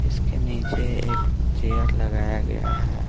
इसके नीचे एक चेयर लगाया गया है।